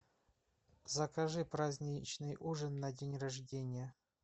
закажи праздничный ужин на день рождения